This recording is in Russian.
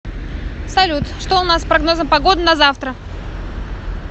салют что у нас с прогнозом погоды на завтра